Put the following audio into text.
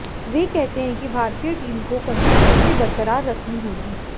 वे कहते हैं कि भारतीय टीम को कंसिस्टेंसी बरकरार रखनी होगी